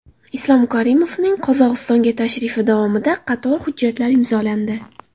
Islom Karimovning Qozog‘istonga tashrifi davomida qator hujjatlar imzolandi.